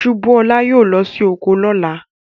Subúolá yóò lọ sí oko lọ́la.